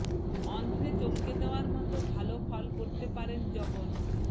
অন্ধ্রে চমকে দেওয়ার মতো ভালো ফল করতে পারেন জগন